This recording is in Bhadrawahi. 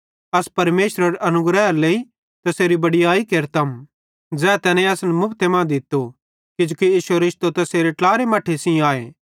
अस परमेशरेरे अनुग्रहेरे लेइ तैसेरी बड़याई केरतम ज़ै तैने असन मुफते मां दित्तो किजोकि इश्शो रिश्तो तैसेरे ट्लारे मट्ठे सेइं आए